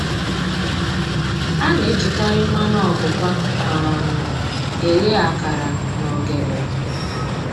A na-ejikarị mmanụ ọpụpa um e ghe akara na ogede